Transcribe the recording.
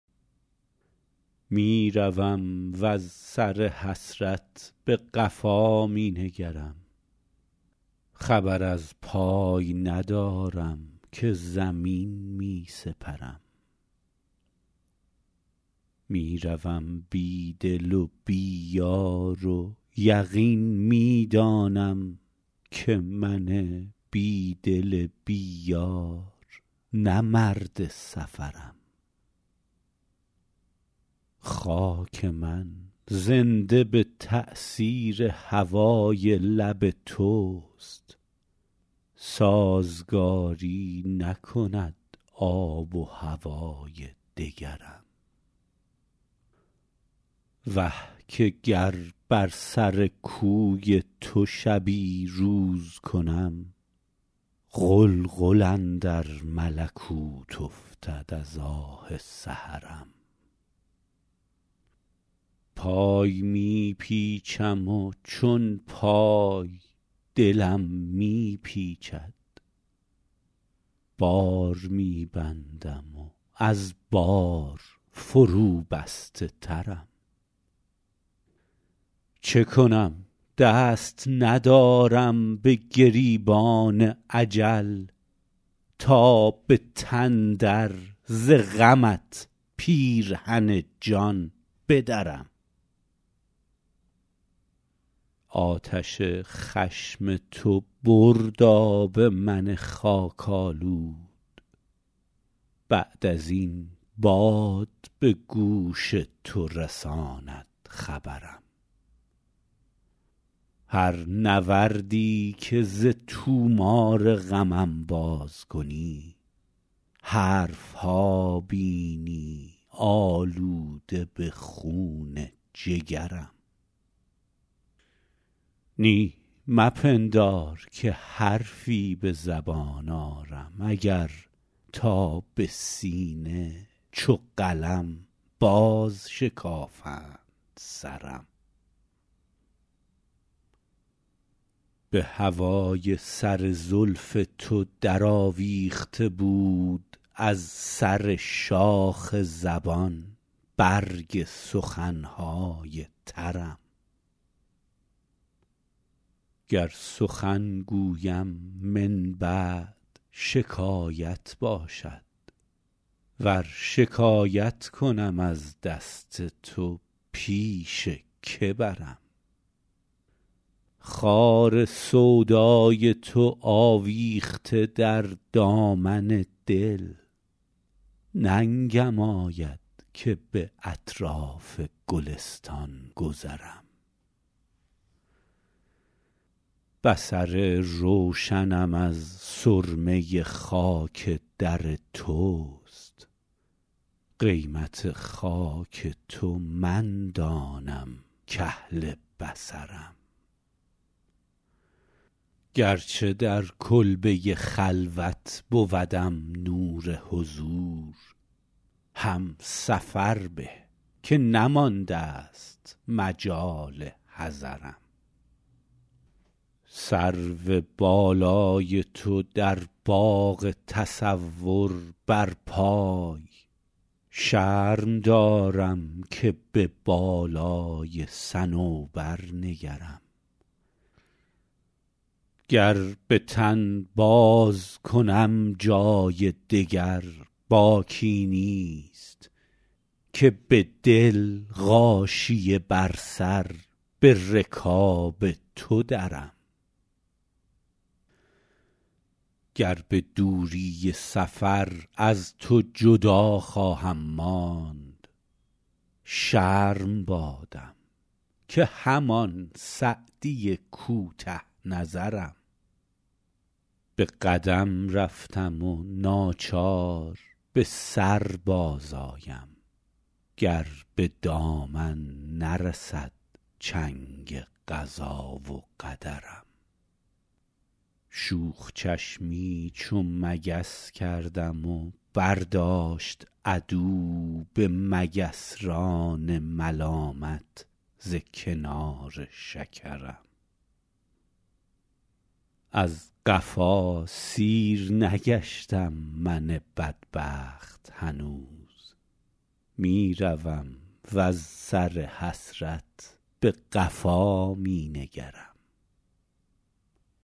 می روم وز سر حسرت به قفا می نگرم خبر از پای ندارم که زمین می سپرم می روم بی دل و بی یار و یقین می دانم که من بی دل بی یار نه مرد سفرم خاک من زنده به تأثیر هوای لب توست سازگاری نکند آب و هوای دگرم وه که گر بر سر کوی تو شبی روز کنم غلغل اندر ملکوت افتد از آه سحرم پای می پیچم و چون پای دلم می پیچد بار می بندم و از بار فروبسته ترم چه کنم دست ندارم به گریبان اجل تا به تن در ز غمت پیرهن جان بدرم آتش خشم تو برد آب من خاک آلود بعد از این باد به گوش تو رساند خبرم هر نوردی که ز طومار غمم باز کنی حرف ها بینی آلوده به خون جگرم نی مپندار که حرفی به زبان آرم اگر تا به سینه چو قلم بازشکافند سرم به هوای سر زلف تو درآویخته بود از سر شاخ زبان برگ سخن های ترم گر سخن گویم من بعد شکایت باشد ور شکایت کنم از دست تو پیش که برم خار سودای تو آویخته در دامن دل ننگم آید که به اطراف گلستان گذرم بصر روشنم از سرمه خاک در توست قیمت خاک تو من دانم کاهل بصرم گرچه در کلبه خلوت بودم نور حضور هم سفر به که نماندست مجال حضرم سرو بالای تو در باغ تصور برپای شرم دارم که به بالای صنوبر نگرم گر به تن بازکنم جای دگر باکی نیست که به دل غاشیه بر سر به رکاب تو درم گر به دوری سفر از تو جدا خواهم ماند شرم بادم که همان سعدی کوته نظرم به قدم رفتم و ناچار به سر بازآیم گر به دامن نرسد چنگ قضا و قدرم شوخ چشمی چو مگس کردم و برداشت عدو به مگسران ملامت ز کنار شکرم از قفا سیر نگشتم من بدبخت هنوز می روم وز سر حسرت به قفا می نگرم